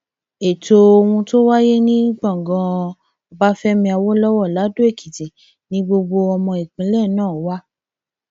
ètò ohun tó wáyé ní gbọngàn ọbáfẹmi awolowo ladoekìtì ni gbogbo ọmọ ìpínlẹ náà wà